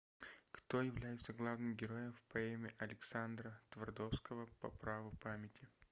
кто является главным героем в поэме александра твардовского по праву памяти